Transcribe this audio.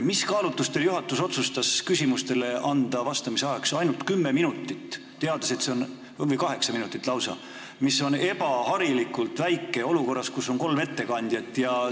Mis kaalutlustel otsustas juhatus anda küsimustele vastamise ajaks ainult 10 minutit või 8 minutit lausa, mis on ebaharilikult lühike aeg olukorras, kus on kolm ettekandjat?